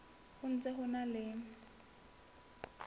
ho ntse ho na le